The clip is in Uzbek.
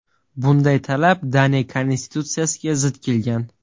Bunday talab Daniya konstitutsiyasiga zid kelgan.